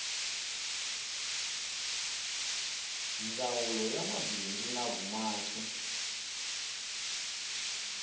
ndzawulo ya mabindzu na vumaki